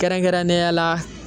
Kɛrɛnkɛrɛnnenya la